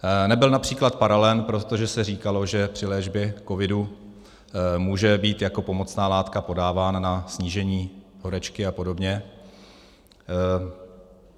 Nebyl například paralen, protože se říkalo, že při léčbě COVIDu může být jako pomocná látka podávána na snížení horečky a podobně.